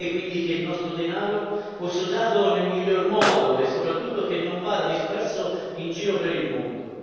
Gradirei quindi che il nostro denaro, fosse usato nel miglior modo e soprattutto che non vada disperso in giro per il mondo.